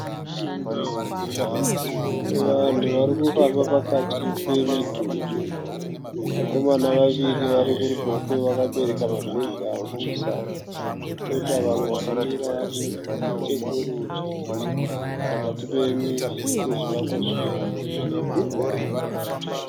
Vanhu vari kufamba pakati pemidhuri. Vakomana vaviri vari kuruboshwe vakabereka mabhegi avo kumusana. Koita vamwe vakamira vari nechokurudyi pakati pezvivakwa zviviri.